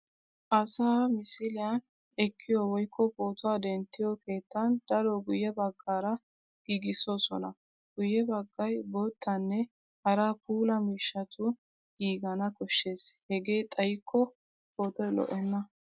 Asaa misiliyan ekkiyo woykko pootuwa denttiyo keettan daro guyye baggaara giigissoosona. Guyye baggay boottanne hara puula miishshatun giigana koshshes hegee xayikko pootoy lo'enna.